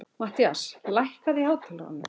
Mattías, lækkaðu í hátalaranum.